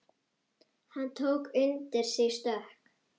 Hann tók undir sig stökk.